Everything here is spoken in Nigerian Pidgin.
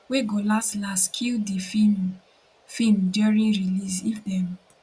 wey go laslas kill di feem feem during release if dem